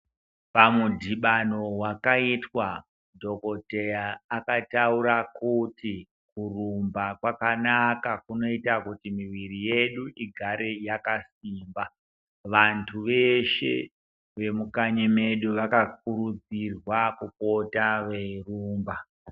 Pamudhibano wakaitwa dhokoteya akatakura kuti kurumba kwakanaka kunoita kuti miviri yedu igare yakasimba. Vantu veshe vemukanyi medu vakakurudzirwa kupota veirumba.